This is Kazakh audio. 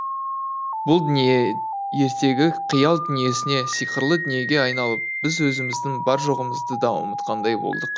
бұл дүние ертегі қиял дүниесіне сиқырлы дүниеге айналып біз өзіміздің бар жоғымызды да ұмытқандай болдық